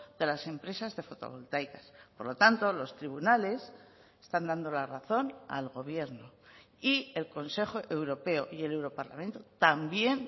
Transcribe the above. de las empresas de fotovoltaicas por lo tanto los tribunales están dando la razón al gobierno y el consejo europeo y el europarlamento también